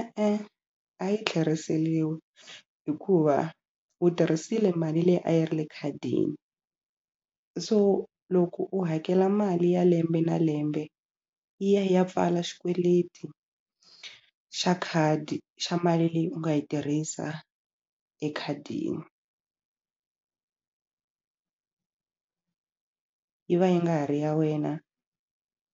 E-e a yi tlheriseriwi hikuva u tirhisile mali leyi a yi ri le khadini so loko u hakela mali ya lembe na lembe yi ya yi ya pfala xikweleti xa khadi xa mali leyi u nga yi tirhisa ekhadini yi va yi nga ha ri ya wena